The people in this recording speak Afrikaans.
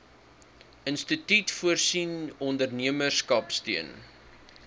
instituut voorsien ondernemerskapsteun